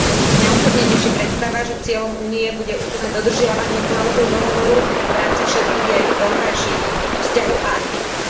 Mňa osobne teší predstava, že cieľom Únie bude úplné dodržiavanie klauzúl dohovoru v rámci všetkých jej vonkajších vzťahov a aktivít.